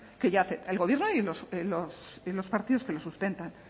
que ya hace el gobierno y los partidos que lo sustentan